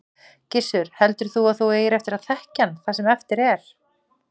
Gissur: Heldur þú að þú eigir eftir að þekkja hann það sem eftir er?